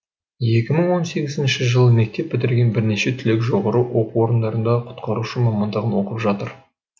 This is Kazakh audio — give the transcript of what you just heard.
екі мың он сегізінші жылы мектеп бітірген бірнеше түлек жоғары оқу орындарында құтқарушы мамандығын оқып жатыр